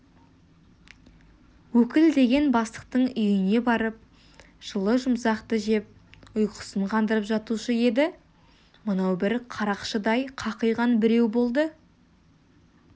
өкіл деген бастықтың үйіне барып жылы-жұмсақты жеп ұйқысын қандырып жатушы еді мынау бір қарақшыдай қақиған біреу болды